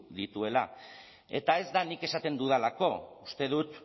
dituela eta ez da nik esaten dudalako uste dut